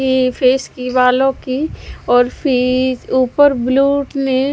ये फेस की बालों की और फे ऊपर ब्ल्यू ने--